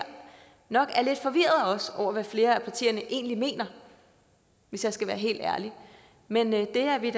nok også er lidt forvirret over hvad flere af partierne egentlig mener hvis jeg skal være helt ærlig men det er vi